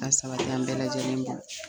A sabati an bɛɛ lajɛlen ma.